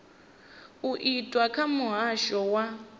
u itwa kha muhasho wa